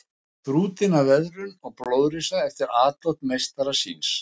Þrútinn af veðrum og blóðrisa eftir atlot meistara síns.